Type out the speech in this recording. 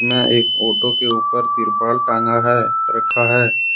यह एक ऑटो के ऊपर तिरपाल टांगा है रखा है।